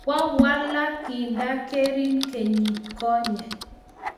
kwe walak kinda gerin kenyit konye